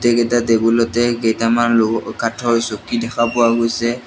এইকেইটা টেবুল তে কেইটামান লোহ কাঠৰ চকী দেখা পোৱা গৈছে।